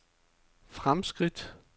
fremskridt